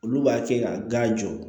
Olu b'a kɛ ka gan jɔ